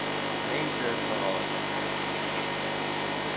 mense gehad